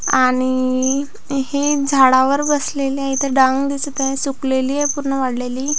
आणि हे झाडावर बसलेले आहे इथ डांग दिसत आहे सुकलेली आहे पूर्ण वाळलेली.